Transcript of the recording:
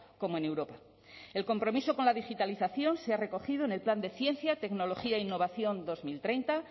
como en europa el compromiso con la digitalización se ha recogido en el plan de ciencia tecnología e innovación dos mil treinta